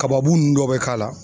Kababunnu dɔ bɛ k'a la.